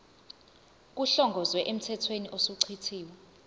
kuhlongozwe emthethweni osuchithiwe